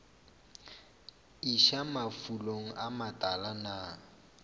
iša mafulong a matala na